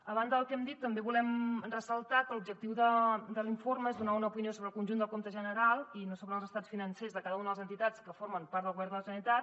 a banda del que hem dit també volem ressaltar que l’objectiu de l’informe és donar una opinió sobre el conjunt del compte general i no sobre els estats financers de cada una de les entitats que formen part del govern de la generalitat